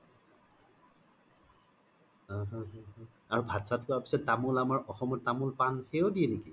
উম উম আৰু ভাত চাত খুৱাৰ পিছ্ত তামোল আমৰ অসমত তামোল পান সেইও দিয়ে নেকি